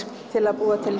til að búa til